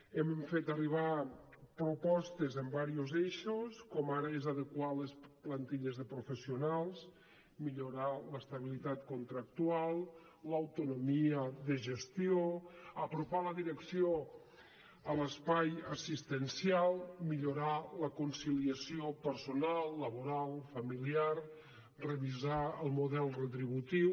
hem fet arribar propostes amb diversos eixos com ara és adequar les plantilles de professionals millorar l’estabilitat contractual l’autonomia de gestió apropar la direcció a l’espai assistencial millorar la conciliació personal laboral familiar revisar el model retributiu